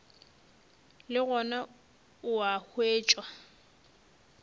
le gona o a hwetšwa